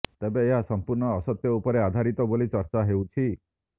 ତେବେ ଏହା ସମ୍ପୂର୍ଣ୍ଣ ଅସତ୍ୟ ଉପରେ ଆଧାରିତ ବୋଲି ଚର୍ଚ୍ଚା ହେଉଛି